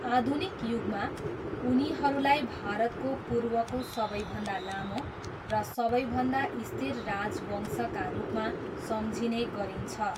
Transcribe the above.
आधुनिक युगमा, उनीहरूलाई भारतको पूर्वको सबैभन्दा लामो र सबैभन्दा स्थिर राजवंशका रूपमा सम्झिने गरिन्छ।